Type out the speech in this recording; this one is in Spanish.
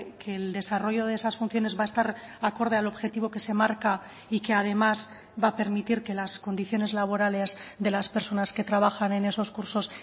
que el desarrollo de esas funciones va a estar acorde al objetivo que se marca y que además va a permitir que las condiciones laborales de las personas que trabajan en esos cursos